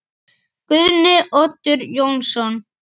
Guðni Oddur Jónsson